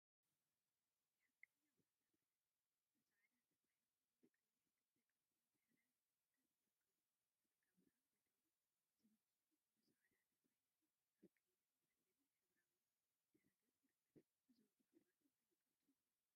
“ሓቀኛ፣ ዛንታታት” ብፃዕዳ ተፃሒፎም አብ ቀይሕ ክቢ ቅርፂ ድሕረ ገፅ ይርከቡ፡፡ “ጸጋብርሃን ጎይትኦም” ዝብል ፅሑፍ ብፃዕዳ ተፃሒፉ አብ ቀይሕን ፀሊምን ሕብራዊ ድሕረ ገፅ ይርከብ፡፡ እዞም ፅሑፋት እንታይ ይገልፁ?